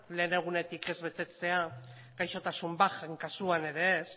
lehen egunetik ez betetzea gaixotasun bajen kasuan ere ez